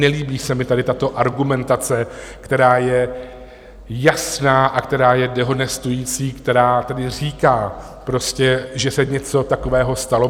Nelíbí se mi tady tato argumentace, která je jasná a která je dehonestující, která tedy říká prostě, že se něco takového stalo.